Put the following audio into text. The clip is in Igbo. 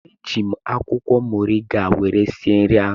Eji m akwụkwọ moriga were sie nri